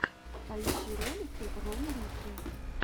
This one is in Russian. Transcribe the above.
поищи ролики ромы рикки